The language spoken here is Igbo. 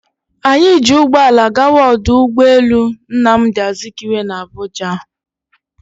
Anyị ji ụgbọala gawa ọdụ ụgbọ elu Nnamdi Azikiwe dị na Abuja